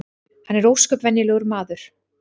Hann er ósköp venjulegur maður